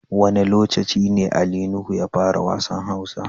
Wane locaci ne Ali Nuhu ya fara wassan Hausa?